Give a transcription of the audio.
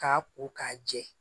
K'a ko k'a jɛ